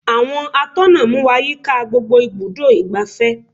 Àwọn atọ́nà mú wá yíká gbogbo ibùdó igbàfẹ́.